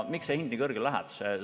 Miks see hind nii kõrgele läheb?